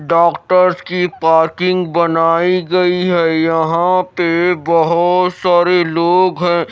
doctor की parking बनाई गई है यहां पे बहोत सारे लोग--